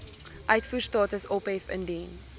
uitvoerstatus ophef indien